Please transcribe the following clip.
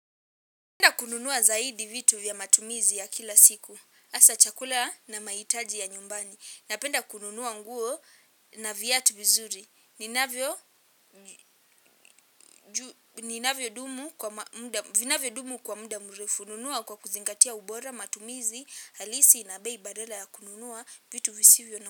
Napenda kununua zaidi vitu vya matumizi ya kila siku. Asa chakula na maitaji ya nyumbani. Napenda kununua nguo na viatu vizuri. Ninavyo dumu kwa muda mrefu. Nunua kwa kuzingatia ubora matumizi. Halisi na bei badala ya kununua vitu visivyo na mrefu.